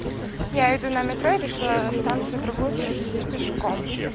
я иду на метро и решила станцию другую пройтись пешком